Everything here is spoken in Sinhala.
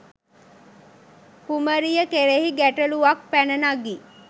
කුමරිය කෙරෙහි ගැටළුවක් පැන නගී.